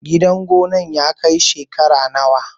Gidan gonar ya kai shekara nawa?